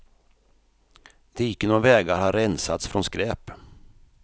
Diken och vägar har rensats från skräp.